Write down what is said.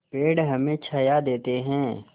पेड़ हमें छाया देते हैं